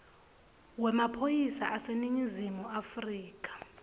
wemaphoyisa aseningizimu afrika